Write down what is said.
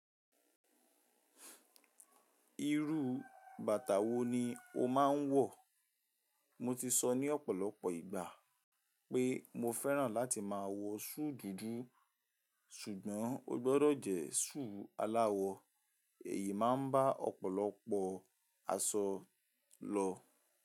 Irú bàtà wo ni o máa ń wọ̀? Mo ti sọ ní ọ̀pọ̀lọpọ̀ ìgbà pé mo fẹ́ràn láti máa wọ súù dúdú, ṣùgbọ́n ó gbọdọ̀ jẹ́ súù aláwọ. Èyí máa ń bá ọ̀pọ̀lọpọ̀ aṣọ lọ.